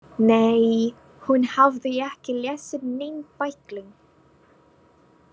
Nei, hún hafði ekki lesið neinn bækling.